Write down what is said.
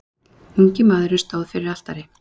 Ungi maðurinn stóð fyrir altari.